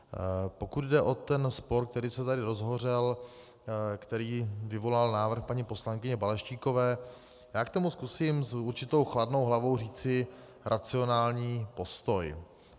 Pokud jde o ten spor, který se tady rozhořel, který vyvolal návrh paní poslankyně Balaštíkové, já k tomu zkusím s určitou chladnou hlavou říci racionální postoj.